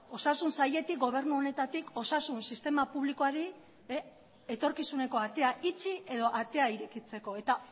osasun sailetik gobernu honetatik osasun sistema publikoari etorkizuneko atea itxi edo atea irekitzeko eta